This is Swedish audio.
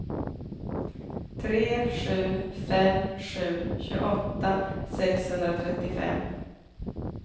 tre sju fem sju tjugoåtta sexhundratrettiofem